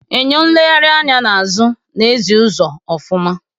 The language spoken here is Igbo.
Eñyo nlegharị anya n'azụ na ezi uzo ofuma.